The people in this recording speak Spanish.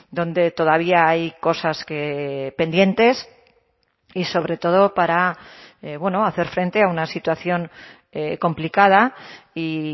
dónde todavía hay cosas pendientes y sobre todo para bueno hacer frente a una situación complicada y